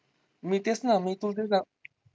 मी तेच ना मी